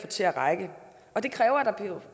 til at række og det kræver at der